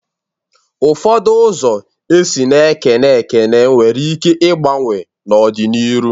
Ụfọdụ ụzọ esi na-ekene ekene nwere ike igbanwe n'ọ dị n'iru.